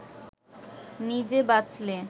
নিজে বাঁচলে